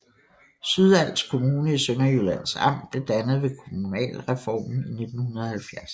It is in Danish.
Sydals Kommune i Sønderjyllands Amt blev dannet ved kommunalreformen i 1970